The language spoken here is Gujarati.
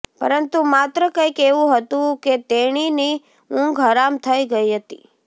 પરંતુ પાત્ર કંઇક એવું હતું કે તેણીની ઊંંઘ હરામ થઇ ગઇ હતી